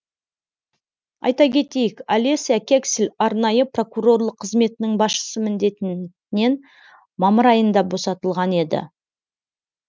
айта кетейік олеся кексель арнайы прокурорлар қызметінің басшысы міндетінен мамыр айында босатылған еді